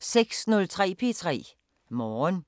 06:03: P3 Morgen